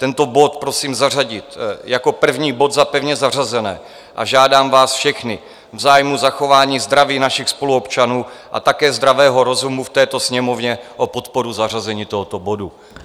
Tento bod prosím zařadit jako první bod za pevně zařazené a žádám vás všechny v zájmu zachování zdraví našich spoluobčanů a také zdravého rozumu v této Sněmovně o podporu zařazení tohoto bodu.